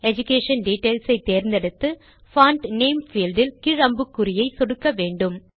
education details ஐ தேர்ந்தெடுத்து font name field இல் கீழ் அம்புகுறியை சொடுக்க வேண்டும்